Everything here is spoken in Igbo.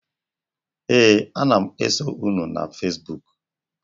Ee, ana m eso unu na fezbuk.